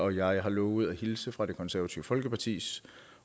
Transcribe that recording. jeg har lovet at hilse fra det konservative folkepartis